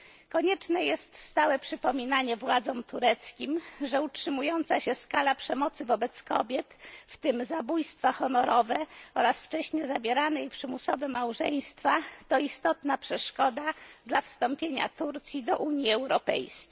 Konieczne jest stałe przypominanie władzom tureckim, że utrzymująca się skala przemocy wobec kobiet w tym zabójstwa honorowe oraz wcześnie zawierane i przymusowe małżeństwa to istotna przeszkoda dla wstąpienia Turcji do Unii Europejskiej.